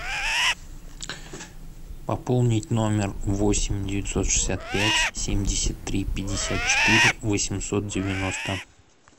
пополнить номер восемь девятьсот шестьдесят пять семьдесят три пятьдесят четыре восемьсот девяносто